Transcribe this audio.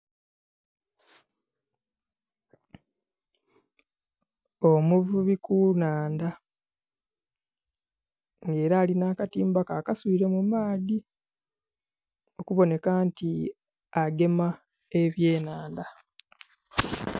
Omuvubi ku nnhandha, era alina akatimba ke akaswile mu maadhi, okuboneka nti agema ebyenhanda.